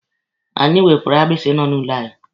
Anyị wepụrụ agbisi nọ n'ụlọ anyị.